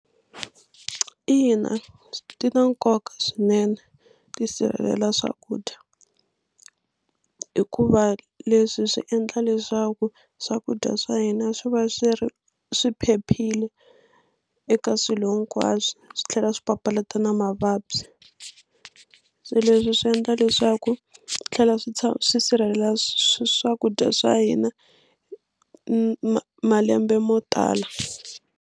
Ina ti na nkoka swinene tisirhelela swakudya hikuva leswi swi endla leswaku swakudya swa hina swi va swi ri swi phephile eka swilo hinkwaswo swi tlhela swi papalata na mavabyi se leswi swi endla leswaku swi tlhela swi swi swi sirhelela swakudya swa hina ma malembe mo tala.